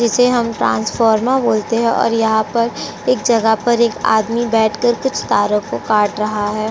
जिसे हम ट्रांसफॉमर्स बोलते हैं और यहां पर एक जगह पर एक आदमी बैठकर कुछ तारो को काट रहा है।